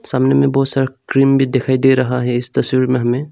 सामने में बहोत सारा क्रीम भी दिखाई दे रहा है इस तस्वीर में हमें।